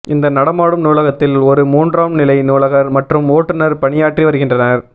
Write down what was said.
இந்த நடமாடும் நூலகத்தில் ஒரு மூன்றாம் நிலை நூலகர் மற்றும் ஓட்டுநர் பணியாற்றி வருகின்றனர்